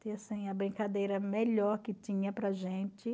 Tinha, assim, a brincadeira melhor que tinha para a gente.